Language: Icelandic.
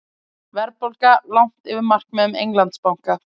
Verðbólga langt yfir markmiðum Englandsbanka